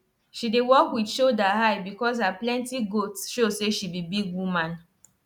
she dey walk with shoulder high because her plenty goat show say she be big woman